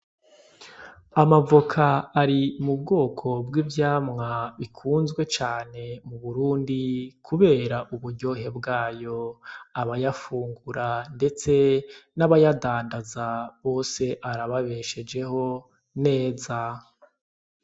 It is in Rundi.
Amavoka ari mu bwoko bw'ivyamwa bikunzwe cane mu burundi, kubera ubuyohe bwayo abayafungura, ndetse n'abayadandaza bose arababeshejeho neza.